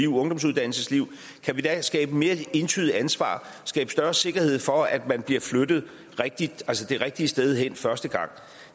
ungdomsuddannelsesliv kan skabe mere entydigt ansvar skabe større sikkerhed for at man bliver flyttet det rigtige sted hen første gang